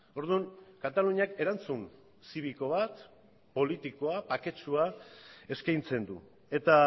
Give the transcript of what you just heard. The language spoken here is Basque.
orduan kataluniak erantzun zibiko bat politikoa baketsua eskaintzen du eta